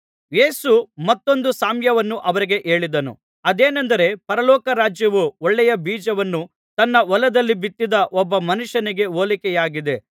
ಯೇಸು ಮತ್ತೊಂದು ಸಾಮ್ಯವನ್ನು ಅವರಿಗೆ ಹೇಳಿದನು ಅದೇನೆಂದರೆ ಪರಲೋಕ ರಾಜ್ಯವು ಒಳ್ಳೆಯ ಬೀಜವನ್ನು ತನ್ನ ಹೊಲದಲ್ಲಿ ಬಿತ್ತಿದ ಒಬ್ಬ ಮನುಷ್ಯನಿಗೆ ಹೋಲಿಕೆಯಾಗಿದೆ